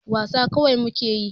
Wasa kawai muke yi.